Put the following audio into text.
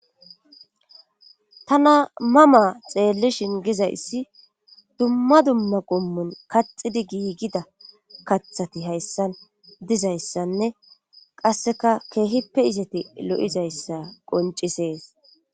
tana mama xeellishin gizayssi dumma dumma qommun kaxidi giigida kathati hayssan dizayssanne qasseka keehippe izati lo7izayssa qoncisees